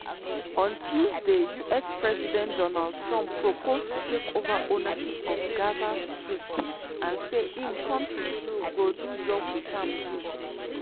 on tuesday us president donald trump propose to take over ownership of gaza strip and say im kontri "go do job with am too."